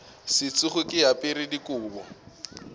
se tsoge ke apere dikobo